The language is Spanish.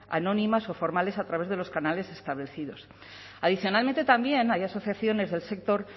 anónimas o formales a través de los canales establecidos adicionalmente también hay asociaciones del sector